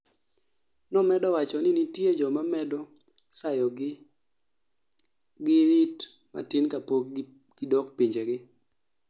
nomedo wacho ni nitie jomaa medo sayogi gi rit matin kapok gidok pinjegi